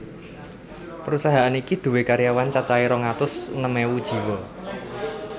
Prusahaan iki duwé karyawan cacahé rong atus enem ewu jiwa